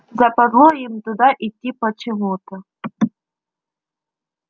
западло им туда идти почему-то